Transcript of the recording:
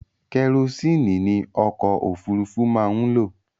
Kẹrosíìnì ni ọkọ̀ òfurufú máa ń lò.